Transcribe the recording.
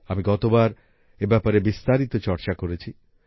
আমি গতবার এ ব্যাপারে বিস্তারিত চর্চা করেছি